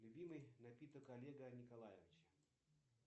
любимый напиток олега николаевича